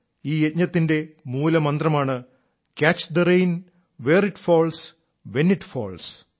ഈ യജ്ഞത്തിന്റെ മൂലമന്ത്രമാണ് catch the rain where it falls when it false